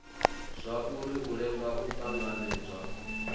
zwauri u lenga u tanganedzwa